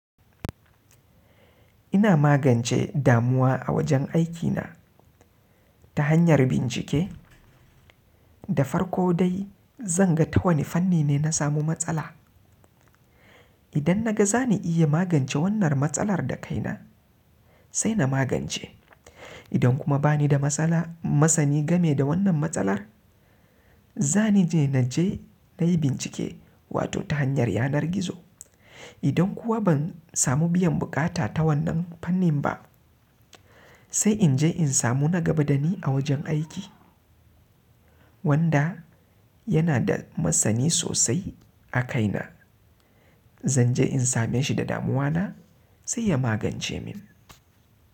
Ina magance damuwa a wajen aikina ta hanyar bincike da farko dai zan ga ta wane fanni ne na samu matsala. Idan na ga za ni iya magance wannan matsalar da kaina sai na magance. Idan kuma ba ni da masani game da wannan matsalar, za ni je na yi bincike wato ta hanyar yanar gizo. Idan kuwa ban samu biyan bukata ta wannan fannin ba sai in je in samu na gaba da ni a wajen aiki wanda yana da masani sosai a kaina. Zan je in same shi da damuwa na sai ya magance min.